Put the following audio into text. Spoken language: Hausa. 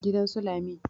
gidan su Lami